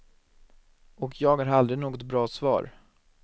Och jag har aldrig något bra svar.